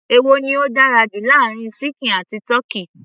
èwo ni ó dára jù láàárin ṣíkìn àti tọ́kì